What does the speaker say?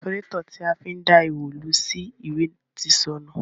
Pafurátọ̀ ti a fi ń dá ihò lu sí ìwé ti sọnù.